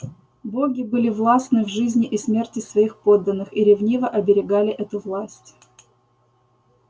боги были властны в жизни и смерти своих подданных и ревниво оберегали эту власть